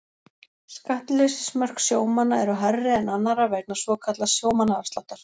Skattleysismörk sjómanna eru hærri en annarra vegna svokallaðs sjómannaafsláttar.